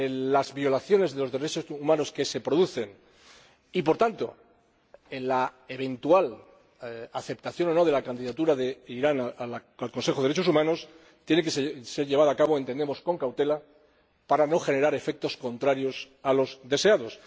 a las violaciones de los derechos humanos que se producen y, por tanto, a la eventual aceptación o no de la candidatura de Irán al Consejo de Derechos Humanos tiene que ser llevada a cabo, entendemos, con cautela para no generar efectos contrarios a los deseados.